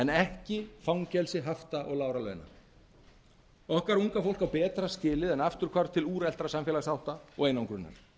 ekki fangelsi hafta og lágra launa okkar unga fólk á betra skilið en afturhvarf til úreltra samfélagshátta og einangrunar